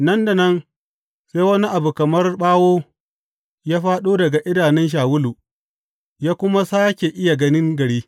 Nan da nan, sai wani abu kamar ɓawo ya fāɗo daga idanun Shawulu, ya kuma sāke iya ganin gari.